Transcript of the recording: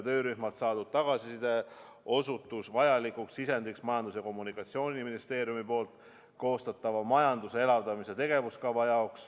Töörühmalt saadud tagasiside osutus vajalikuks sisendiks Majandus- ja Kommunikatsiooniministeeriumi koostatava majanduse elavdamise tegevuskava jaoks.